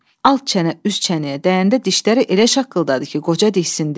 Alt çənə üst çənəyə dəyəndə dişləri elə şaqqıldadı ki, qoca diksindi.